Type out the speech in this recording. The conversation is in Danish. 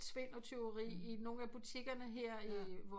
Svin og tyveri i nogen af butikkerne her i vores